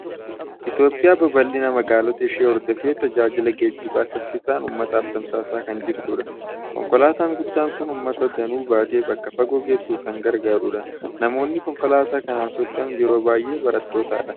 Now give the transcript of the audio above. Itoophiyaan babal'ina magaalota ishee hordofee, tajaajila geejjibaa saffisaan uummataaf tamsaasaa kan jirtudha. Konkolaataan guddaan kun uummata danuu baatee bakka fagoo geessuuf kan gargaarudha. Namoonni konkolaataa kanaan socho'an yeroo baay'ee barattootadha.